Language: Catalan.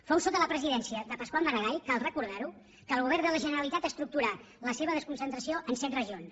fou sota la presidència de pasqual maragall cal recordarho que el govern de la generalitat estructurà la seva desconcentració en set regions